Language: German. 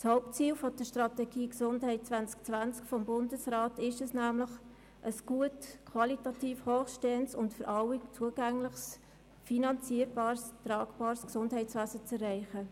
Das Hauptziel der Strategie «Gesundheit2020» des Bundes besteht darin, ein qualitativ hochstehendes und für alle zugängliches, finanzierbares und tragbares Gesundheitswesen zu schaffen.